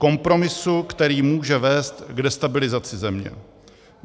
Kompromisu, který může vést k destabilizaci země.